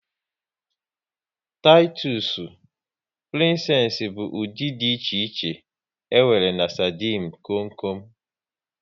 Titusu, Prinsess bụ ụdị dị iche iche e nwere na sardinu kom kom